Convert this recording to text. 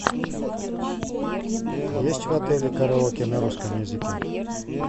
есть в отеле караоке на русском языке